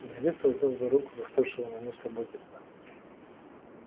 директор взял за руку застывшего на месте богерта